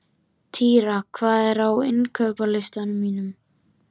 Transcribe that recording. Týra, hvað er á innkaupalistanum mínum?